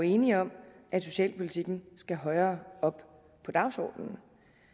enige om at socialpolitikken skal højere op på dagsordenen